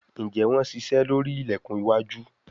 Njé Wón ṣiṣe lórí ilẹkùn iwájú?